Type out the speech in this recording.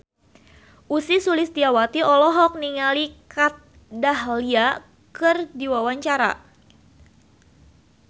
Ussy Sulistyawati olohok ningali Kat Dahlia keur diwawancara